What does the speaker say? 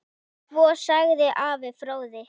Svo segir Ari fróði.